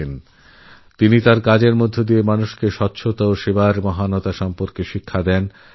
নিজের কর্মেরউদাহরণ স্থাপন করে তিনি মানুষকে সেবা ও স্বচ্ছতার পথে চালিত করেন